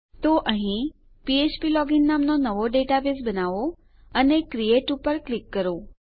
તો અહીં ફ્ફ્પ લોગિન નામનો નવો ડેટાબેઝ બનાવો અને ક્રિએટ પર ક્લિક કરો